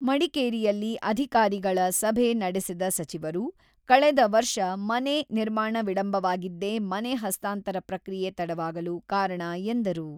ಮಡಿಕೇರಿಯಲ್ಲಿ ಅಧಿಕಾರಿಗಳ ಸಭೆ ನಡೆಸಿದ ಸಚಿವರು, ಕಳೆದ ವರ್ಷ ಮನೆ ನಿರ್ಮಾಣ ವಿಳಂಬವಾಗಿದ್ದೇ ಮನೆ ಹಸ್ತಾಂತರ ಪ್ರಕ್ರಿಯೆ ತಡವಾಗಲು ಕಾರಣ ಎಂದರು.